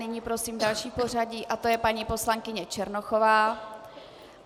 Nyní prosím další v pořadí, to je paní poslankyně Černochová.